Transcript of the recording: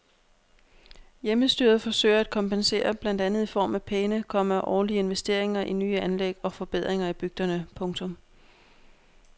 Hjemmestyret forsøger at kompensere blandt andet i form af pæne, komma årlige investeringer i nye anlæg og forbedringer i bygderne. punktum